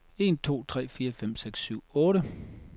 Tester en to tre fire fem seks syv otte.